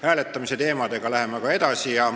Hääletamise teemadega läheme aga edasi.